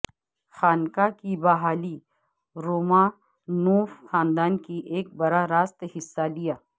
خانقاہ کی بحالی رومانوف خاندان کی ایک براہ راست حصہ لیا